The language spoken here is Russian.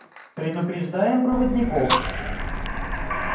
предупреждаем проводников